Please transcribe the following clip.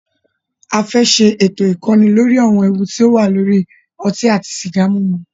A fẹ́ ṣé ètò ìkọ́ni lóri àwọn ewu ti o wà nínú ọtí àti sìgá mímu.